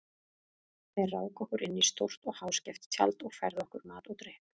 Þeir ráku okkur inn í stórt og háskeft tjald og færðu okkur mat og drykk.